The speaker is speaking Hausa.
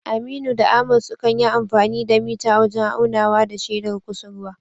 Aminu da Ahmad sukan yi amfani da mita wajen aunawa da shedar kusurwa